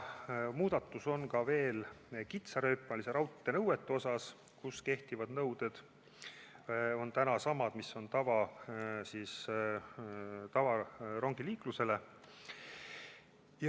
Muudatus on ka veel kitsarööpmelise raudtee nõuetes, kus kehtivad nõuded on samad, mis on tavarongiliiklusel.